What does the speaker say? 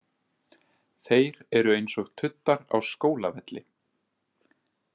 Þeir eru eins og tuddar á skólavelli.